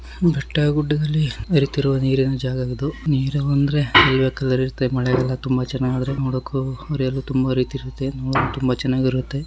ಬೆಟ್ಟ ಗುಡ್ಡದಲ್ಲಿ ಅರಿತಿರುವ ನೀರಿನ ಜಾಗವಿದು. ನೀರು ಅಂದ್ರೆ ಕಲರ್ ಇರುತ್ತೆ. ಮಳೆ ಎಲ್ಲ ಚೆನ್ನಾಗ್ ಆದ್ರೆ ನೋಡಕ್ಕೂ ಅರಿಯಲು ತುಂಬ ರೀತಿ ಇರುತ್ತೆ. ನೋಡಕ್ಕೂ ತುಂಬಾ ಚೆನ್ನಾಗಿರುತ್ತೆ.